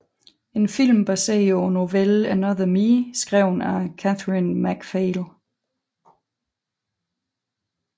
En film baseret på novellen Another Me skrevet af Cathrine MacPhail